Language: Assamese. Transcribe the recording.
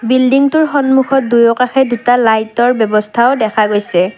বিল্ডিংটোৰ সন্মুখত দুয়োকাষে দুটা লাইটৰ ব্যৱস্থাও দেখা গৈছে।